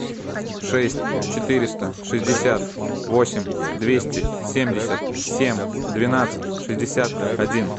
шесть четыреста шестьдесят восемь двести семьдесят семь двенадцать шестьдесят один